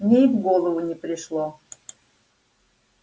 мне и в голову не пришло